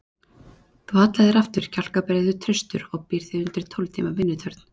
Þú hallar þér aftur, kjálkabreiður, traustur og býrð þig undir tólf tíma vinnutörn.